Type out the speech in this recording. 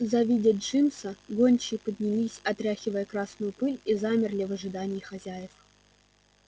завидя джимса гончие поднялись отряхивая красную пыль и замерли в ожидании хозяев